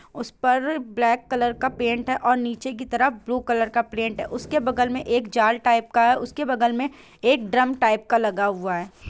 उस पर black colour का पेंट है और नीचे के तरह ब्लू कलर का पेंट है उसके बगल मे एक जाल टाइप का है उसके बगल मे ड्रम टाइप का लगा हुआ है।